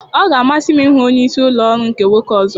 Ọ ga-amasị m ịhụ onye isi ụlọ ọrụ nke nwoke ọzọ.